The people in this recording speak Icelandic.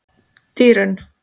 Dýrunn